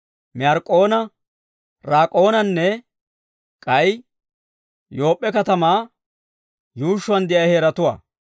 Meyark'k'oona, Raak'oonanne k'ay Yoop'p'e katamaa yuushshuwaan de'iyaa heeratuwaa.